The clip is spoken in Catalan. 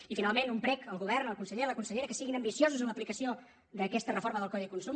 i finalment un prec al govern al conseller a la consellera que siguin ambiciosos en l’aplicació d’aquesta reforma del codi de consum